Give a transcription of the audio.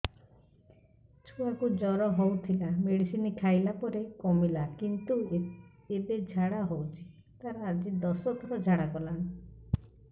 ଛୁଆ କୁ ଜର ହଉଥିଲା ମେଡିସିନ ଖାଇଲା ପରେ କମିଲା କିନ୍ତୁ ଏବେ ଝାଡା ହଉଚି ତାର ଆଜି ଦଶ ଥର ଝାଡା କଲାଣି